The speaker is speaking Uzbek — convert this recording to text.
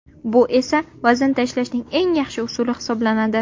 Bu esa vazn tashlashning eng yaxshi usuli hisoblanadi.